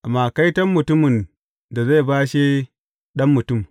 Amma kaiton mutumin da zai bashe Ɗan Mutum!